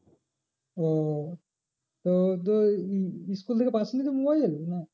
ও তো তুই উম school থেকে পাসনি তো mobile না